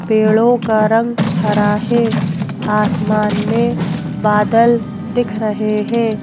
पेड़ों का रंग हरा है आसमान मेंबादलदिख रहे हैं।